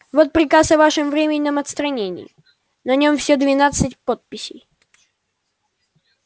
вот приказ о вашем временном отстранении на нём все двенадцать подписей